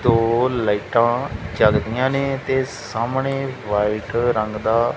ਦੋ ਲਾਈਟਾਂ ਜੱਗਦੀਆਂ ਨੇਂ ਤੇ ਸਾਹਮਣੇ ਵਾਈਟ ਰੰਗ ਦਾ--